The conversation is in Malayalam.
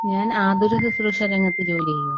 ഞാൻ ആതുരശുസ്രൂഷ രംഗത്ത് ജോലി ചെയ്യുന്നു.